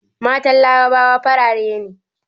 Matan larabawa farare ne